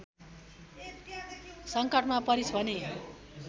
सङ्कटमा परिस् भने